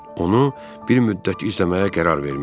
Onu bir müddət izləməyə qərar vermişdi.